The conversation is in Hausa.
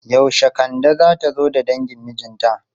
Yaushe Kande zata zo da dangin mijinta?